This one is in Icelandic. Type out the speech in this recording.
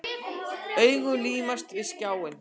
Augun límast við skjáinn.